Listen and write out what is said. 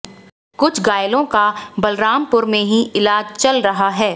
कुछ घायलों का बलरामपुर में ही इलाज चल रहा है